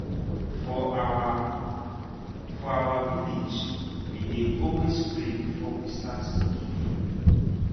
for our for our village we dey always pray before we start to keep food.